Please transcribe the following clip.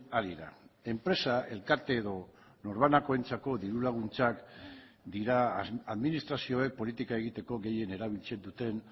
ari da enpresa elkarte edo norbanakoentzako diru laguntzak dira administrazioek politika egiteko gehien erabiltzen duten